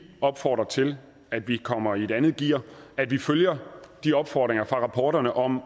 opfordrer til at vi kommer i et andet gear at vi følger de opfordringer fra rapporterne om